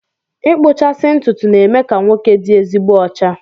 Ịkpụchasị ntụtụ na-eme ka nwoke dị ezigbo ọcha